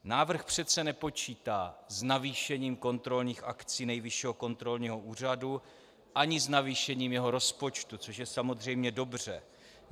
Návrh přece nepočítá s navýšením kontrolních akcí Nejvyššího kontrolního úřadu ani s navýšením jeho rozpočtu, což je samozřejmě dobře.